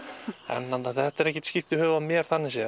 þetta er ekkert skírt í höfuðið á mér þannig séð